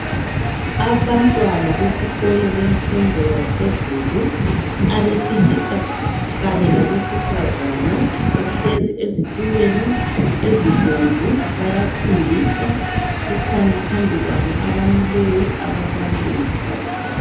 Abantwana besikolo bemfundo yaphezulu, abesilisa kanye labesifazana. Bahlezi ezitulweni ezibomvu. Bayafundiswa. Kukhona phambi kwabo abamileyo, ababalisi.